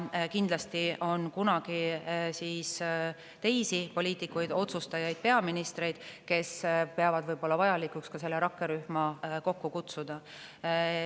Kindlasti on kunagi teisi poliitikuid, otsustajaid, peaministreid, kes peavad vajalikuks see rakkerühm kokku kutsuda.